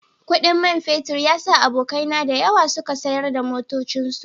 Kudin man fetur ya sa abokaina da yawa suka sayar da motocinsu